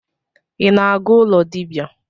I na-aga ụlọ dibia?